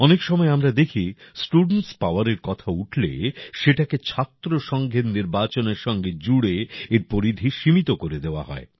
অনেক সময় আমরা দেখি স্টুডেন্টস পাওয়ারের কথা উঠলে সেটাকে ছাত্রসংঘের নির্বাচনের সঙ্গে জুড়ে এর পরিধি সীমিত করে দেওয়া হয়